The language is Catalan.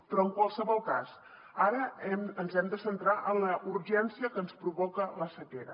però en qualsevol cas ara ens hem de centrar en la urgència que ens provoca la sequera